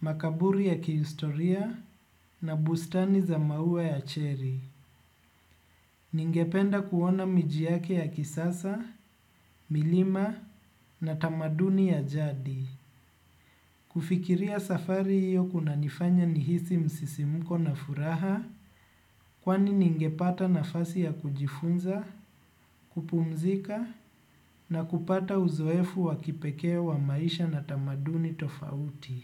makaburi ya kihistoria na bustani za maua ya cherry. Ningependa kuona miji yake ya kisasa, milima na tamaduni ya jadi. Kufikiria safari hiyo kunanifanya nihisi msisimuko na furaha kwani ningepata nafasi ya kujifunza, kupumzika na kupata uzoefu wakipekee wa maisha na tamaduni tofauti.